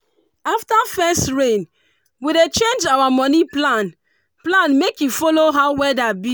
after first rain we dey change our money plan plan make e follow how weather be.